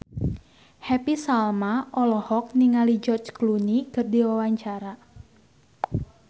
Happy Salma olohok ningali George Clooney keur diwawancara